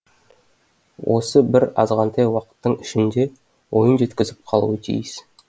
осы бір азғантай уақыттың ішінде ойын жеткізіп қалуы тиіс